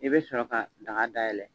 I bɛ sɔrɔ ka daga dayɛlɛ.